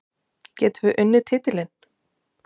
Getum við unnið titilinn?